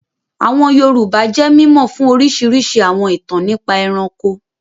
Àwọn Yorùbá jẹ́ mímọ̀ fún orísirísi àwọn ìtàn nípa ẹranko